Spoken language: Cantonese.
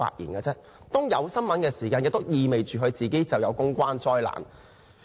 當圍繞他出現新聞時，意味着他造成了公關災難。